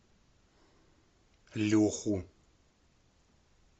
леху